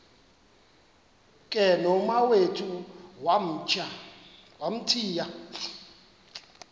ke nomawethu wamthiya